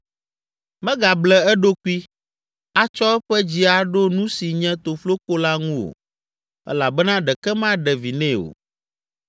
Megable eɖokui, atsɔ eƒe dzi aɖo nu si nye tofloko la ŋu o elabena ɖeke maɖe vi nɛ o.